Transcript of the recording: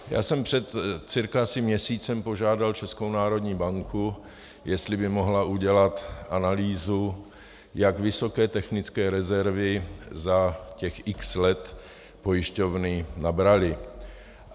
Já jsem před cca asi měsícem požádal Českou národní banku, jestli by mohla udělat analýzu, jak vysoké technické rezervy za těch x let pojišťovny nabraly.